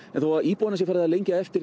en þó að íbúana sé farið að lengja eftir